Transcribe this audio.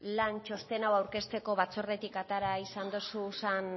lan txosten hau aurkezteko batzordetik atera izan dozusan